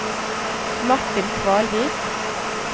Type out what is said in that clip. Martin Kvalvik